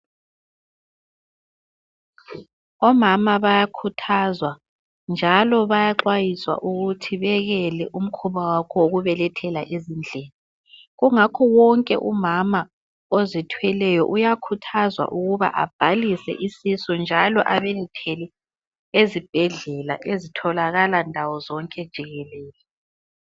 Omama bayakhuthazwa njalo bayaxwayiswa ukuthi bekele umkhuba wabo wokubelethela ezindlini ,kungakho wonke umama ozithweleyo uyakhuthazwa ukuba abhalise isisu njalo alindele ezibhedlela ezitholaka ndawo zonke jikelele.